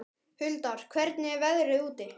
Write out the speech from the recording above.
Huldar, hvernig er veðrið úti?